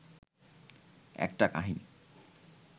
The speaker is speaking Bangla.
একটা কাহিনি